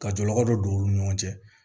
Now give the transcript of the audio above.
Ka jɔlɔkɔ dɔ don olu ni ɲɔgɔn cɛ